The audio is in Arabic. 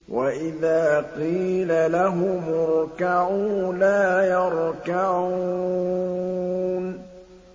وَإِذَا قِيلَ لَهُمُ ارْكَعُوا لَا يَرْكَعُونَ